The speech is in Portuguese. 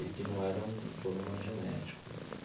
E que não era um problema genético.